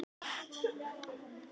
Stór trukkur er á leið yfir brú.